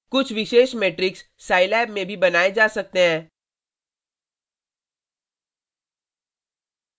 कुछ विशेष matrix Scilab में भी बनाए जा सकते हैं: